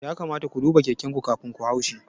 Ya kamata ku duba keken ku kafin ku haushi